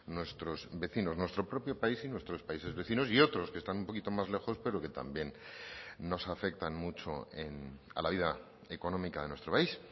nuestros vecinos nuestro propio país y nuestros países vecinos y otros que están un poquito más lejos pero que también nos afectan mucho a la vida económica de nuestro país